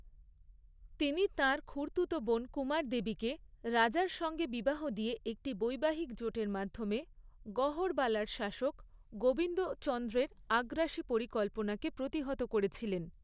তিনি তাঁর খুড়তুতো বোন কুমারদেবীকে, রাজার সঙ্গে বিবাহ দিয়ে একটি বৈবাহিক জোটের মাধ্যমে গহড়বালার শাসক গোবিন্দচন্দ্রের আগ্রাসী পরিকল্পনাকে প্রতিহত করেছিলেন।